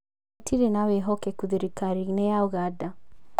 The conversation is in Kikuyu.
Gũtirĩ na wĩhokekũ thirikari-inĩ ya Ũganda